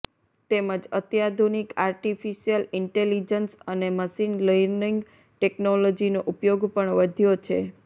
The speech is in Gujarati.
તેમજ અત્યાધુનિક આર્ટિફિશિયલ ઇન્ટેલિજન્સ અને મશીન ર્લિંનગ ટેક્નોલોજીનો ઉપયોગ પણ વધ્યો છે